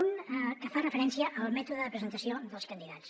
un que fa referència al mètode de presentació dels candidats